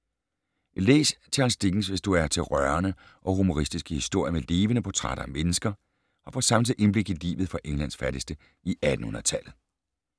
Læs Charles Dickens, hvis du er til rørende og humoristiske historier med levende portrætter af mennesker, og få samtidig indblik i livet for Englands fattigste i 1800-tallet.